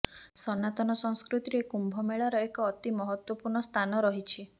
ସନାତନ ସଂସ୍କୃତିରେ କୁମ୍ଭ ମେଳାର ଏକ ଅତି ମହତ୍ୱପୂର୍ଣ୍ଣ ସ୍ଥାନ ରହିଛି